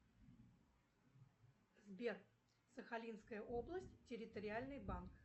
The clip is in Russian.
сбер сахалинская область территориальный банк